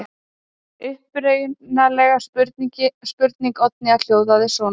Upprunaleg spurning Oddnýjar hljómaði svona: